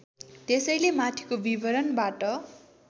त्यसैले माथिको विवरणबाट